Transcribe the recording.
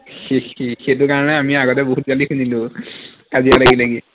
সেই সেই সেইটো কাৰণে আমি আগতে বহুত গালি শুনিলো, কাজিয়া লাগি লাগি